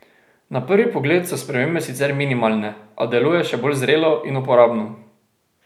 Na prvi pogled so spremembe sicer minimalne, a deluje še bolj zrelo in uporabno.